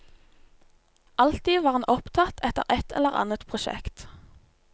Alltid var han opptatt etter et eller annet prosjekt.